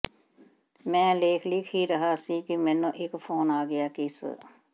ਮੈਂ ਲੇਖ ਲਿਖ ਹੀ ਰਿਹਾ ਸੀ ਕਿ ਮੈਨੂੰ ਇੱਕ ਫੋਨ ਆ ਗਿਆ ਕਿ ਸ